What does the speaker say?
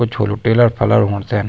कुछ होलु टेलर टुलर होणु तेन।